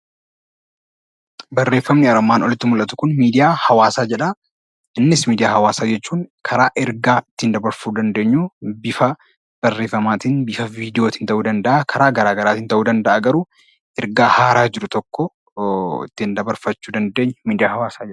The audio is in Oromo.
Barreeffamni armaan olitti mul'atu kun 'Miidiyaa Hawaasaa' jedha. Innis miidiyaa hawaasaa jechuun karaa ergaa ittiin dabarsuu dandeenyu bifa barreeffamaa tiin, bifa viidiyoo tiin ta'uu danda'a garuu ergaa haaraa jiru tokko ittiin dabarfachuu dandeenyu 'Miidiyaa Hawaasaa' jedhama.